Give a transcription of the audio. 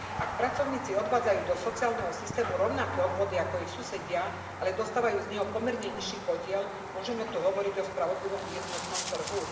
Ak pracovníci odvádzajú do sociálneho systému rovnaké odvody ako ich susedia, ale dostávajú z neho pomerne nižší podiel, môžeme tu hovoriť o spravodlivom jednotnom trhu?